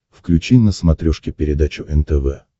включи на смотрешке передачу нтв